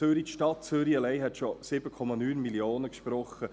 Die Stadt Zürich allein hat schon einen Kredit von 7,9 Mio. Franken gesprochen.